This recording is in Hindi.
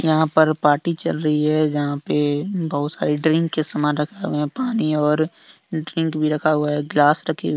यहां पर पाटी चल रही हैजहां पे बहुत सारे ड्रिंक के सामान रखे गए हैं। पानी और ड्रिंक भी रखा हुआ है ग्लास रखी--